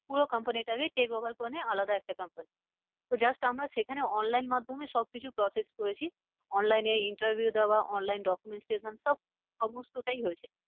পুরো company টাকে take over করে নিয়ে আলাদা একটা comapny তো just আমরা সেখানে online মাধ্যমে সব কিছু process করেছি। online এ interview দেওয়া online documentation সব সমস্তটাই হয়েছে।